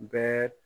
Bɛɛ